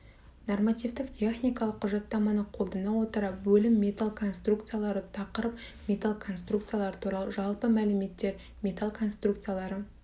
нормативтік техникалық құжаттаманы қолдана отыра бөлім металл конструкциялары тақырып металл конструкциялары туралы жалпы мәліметтер металл конструкциялары